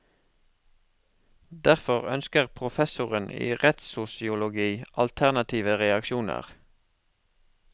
Derfor ønsker professoren i rettssosiologi alternative reaksjoner.